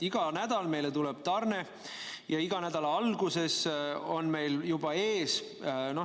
Iga nädal meile tuleb tarne ja iga nädala alguses on meil varu juba ees.